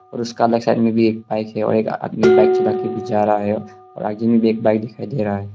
और उसका अलग साइड में भी एक बाइक है और एक आदमी बाइक चला के भी जा रहा है और आगे में भी एक बाइक दिखाई दे रहा है।